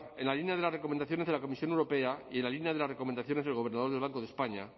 en la línea de las recomendaciones de la comisión europea y en la línea de las recomendaciones del gobernador del banco de españa